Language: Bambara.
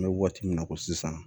An bɛ waati min na ko sisan